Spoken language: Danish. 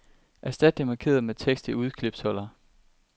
Erstat det markerede med tekst i udklipsholder.